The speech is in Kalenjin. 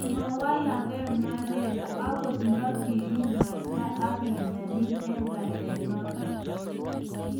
mawalaka Mandela akot nta kikimasta ake nyalil eng' rate noto